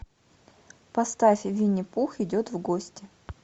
поставь винни пух идет в гости